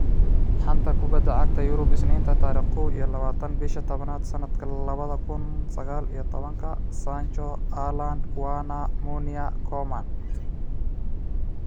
Xanta Kubadda Cagta Yurub Isniinta tariq kow iyo labatan bisha tabnaad sanadka labada kun sagaal iyo tobanka:Sancho, Haaland, Werner, Meunier, Koeman